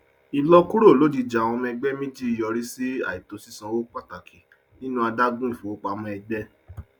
ìlọkúrò lojijì àwọn ọmọ ẹgbẹ méjì yọrí sí àìtó sísan owó pàtàkì nínú adágún ifowopamọ ẹgbẹ